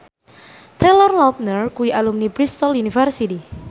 Taylor Lautner kuwi alumni Bristol university